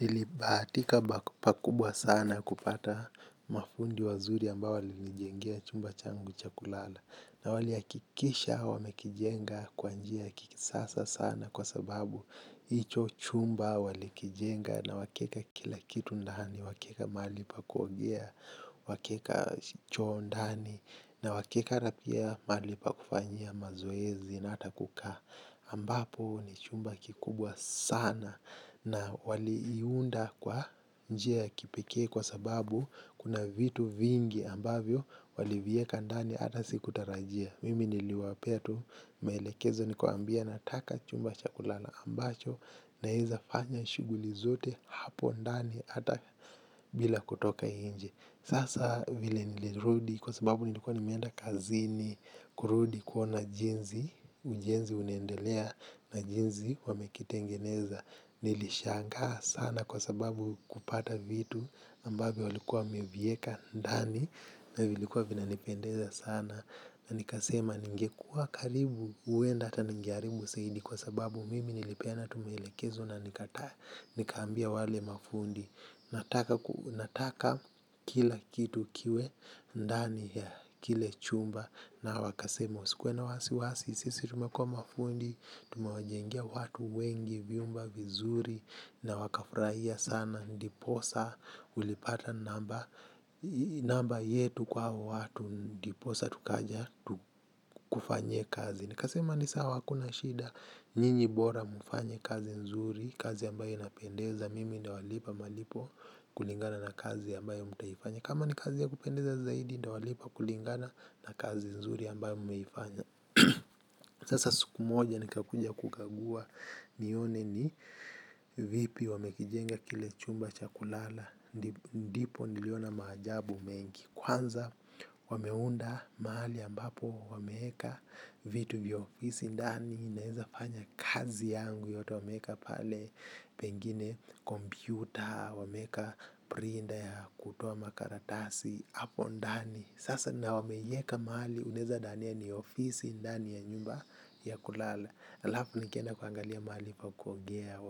Nilibahatika pakubwa sana kupata mafundi wazuri ambao walinijengea chumba changu cha kulala. Na waliakikisha wamekijenga kwa njia ya kisasa sana kwa sababu icho chumba wali kijenga na wakaeka kila kitu ndani. Wakaeka mali pa kuogea, wakeka choo ndani. Na wakeka na pia mali pa kufanyia mazoezi na ata kukaa ambapo ni chumba kikubwa sana na wali iunda kwa njia ya kipekee kwa sababu kuna vitu vingi ambavyo wali vieka ndani ata sikutarajia. Mimi niliwapea tu maelekezo nikawaambia nataka chumba cha kulala ambacho naeza fanya shuguli zote hapo ndani ata bila kutoka inje. Sasa vile nilirudi kwa sababu nilikuwa nimeenda kazini kurudi kuona jinzi ujenzi unaendelea na jinzi wamekitengeneza. Nilishangaa sana kwa sababu kupata vitu ambavyo walikuwa wamevieka ndani na vilikuwa vina nipendeza sana. Na nikasema ningekua karibu huenda hata ningearibu saidi kwa sababu mimi nilipeana tu maelekezo na nikaambia wale mafundi. Nataka kila kitu kiwe ndani ya kile chumba na wakasema usikuwe na wasiwasi. Sisi tumekua mafundi, tumewajengea watu wengi, vyumba vizuri. Na wakafraia sana ndiposa ulipata namba namba yetu kwa hao watu ndiposa tukaja kufanye kazi. Nikasema ni sawa hakuna shida nyinyi bora mfanye kazi nzuri, kazi ambayo inapendeza mimi ndawalipa malipo kulingana na kazi ambayo mtaifanya. Kama ni kazi ya kupendeza zaidi ndawalipa kulingana na kazi nzuri ambayo mmeifanya. Sasa siku moja nikakuja kukagua nione ni vipi wamekijenga kile chumba cha kulala. Ndipo niliona maajabu mengi, kwanza wameunda mahali ambapo wameeka vitu vya ofisi ndani naeza fanya kazi yangu yote wameeka pale pengine kompyuta, wameeka prinda ya kutoa makaratasi hapo ndani sasa na wameieka mali unaeza dania ni ofisi ndani ya nyumba ya kulala alafu nikenda kuangalia mali pa kuogea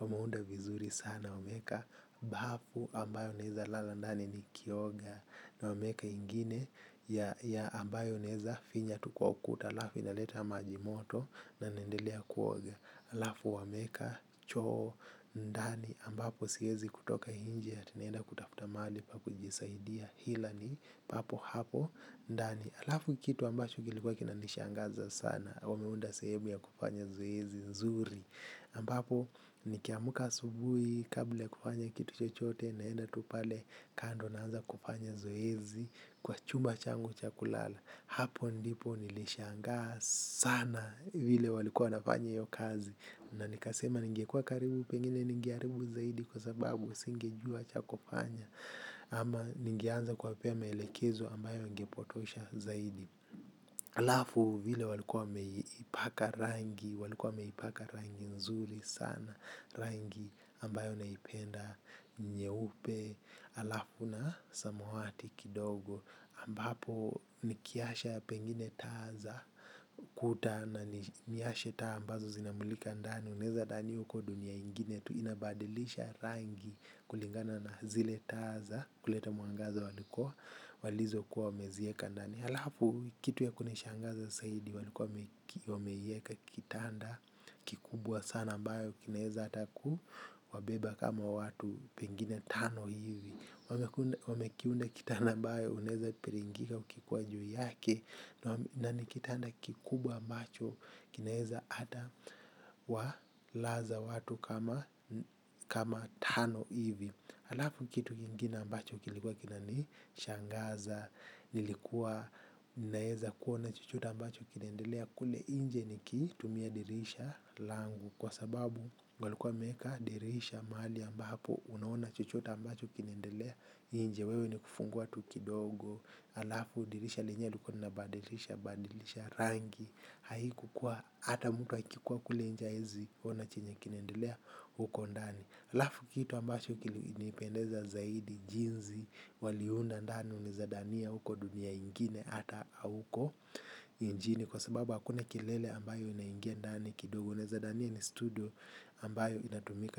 wamaunda vizuri sana wameeka bafu ambayo naeza lala ndani nikioga na wameeka ingine ya ambayo naeza finya tu kwa ukuta alafu inaleta maji moto. Na naendelea kuoga alafu wameeka choo ndani ambapo siezi kutoka inje ati naenda kutafta mali pa kujisaidia ila ni papo hapo ndani alafu kitu ambacho kilikuwa kinanishangaza sana wameunda sehemu ya kupanya zoezi nzuri ambapo nikiamka asubui kabla ya kufanya kitu chochote naenda tu pale kando naanza kupanya zoezi. Kwa chumba changu cha kulala. Hapo ndipo nilishangaa sana vile walikuwa wanafanya hio kazi na nikasema ningekuwa karibu pengine ningeharibu zaidi kwa sababu singejua cha kufanya ama ningeanza kuwapea maelekezo ambayo ingepotosha zaidi. Alafu vile walikuwa wameipaka rangi walikuwa wameipaka rangi nzuri sana rangi ambayo naipenda nyeupe alafu na samawati kidogo ambapo nikiasha pengine taa za kuta na niashe taa ambazo zinamulika ndani unaezadhani uko dunia ingine tu, inabadilisha rangi kulingana na zile taa za kuleta mwangaza walikuwa walizo kuwa wamezieka ndani. Halafu kitu ya kunishangaza saidi walikuwa wameieka kitanda kikubwa sana ambayo inaeza ata ku wabeba kama watu pengine tano hivi wamekiunda kitanda ambayo unaeza piringika ukikuwa juu yake na ni kitanda kikubwa ambacho kinaeza ata walaza watu kama tano hivi alafu kitu kingine ambacho kilikuwa kina nishangaza nilikuwa naeza kuona chochote ambacho kinaendelea kule inje nikitumia dirisha langu. Kwa sababu ngalikuwa meka dirisha mahali ambapo unaona chochote ambacho kinaendelea. Inje wewe ni kufungua tu kidogo. Alafu dirisha lenyewe likuwa linabadilisha badilisha rangi, haikukuwa ata mtu akikuwa kule inje haezi ona chenye kinaendelea huko ndani. Alafu kitu ambacho kilinipendeza zaidi jinzi waliunda ndani unaeza dania uko dunia ingine ata auko injini. Kwa sababu hakuna kelele ambayo inaingia ndani kidogo unaeza dania ni studio ambayo inatumika.